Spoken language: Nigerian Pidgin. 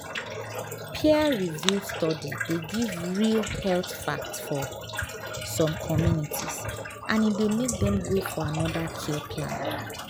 peer-reviewed study dey give real health fact for some communities and e dey make dem go for another care plan.